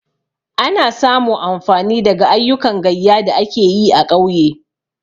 Ana samu amfani daga ayyukan gayya da ake yi a ƙauye.